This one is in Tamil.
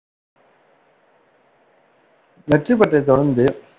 வெற்றி பெற்றதைத் தொடர்ந்து